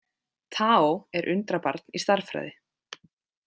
Tao er undrabarn í stærðfræði.